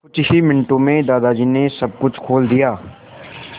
कुछ ही मिनटों में दादाजी ने सब कुछ खोल दिया